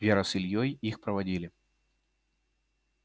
вера с ильёй их проводили